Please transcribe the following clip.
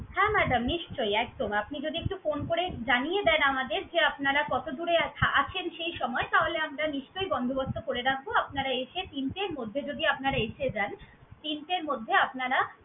হ্যাঁ madam নিশ্চয়ই একদম। আপনি যদি একটু phone করে জানিয়ে দেন আমাদের যে আপনারা কতদুরে থা~ আছেন, সেই সময়ে তাহলে আমরা নিশ্চয়ই বন্দোবস্ত করে রাখবো। আপনারা এসে, তিনটের মধ্যে যদি আপনারা এসে যান, তিনটের মধ্যে আপনারা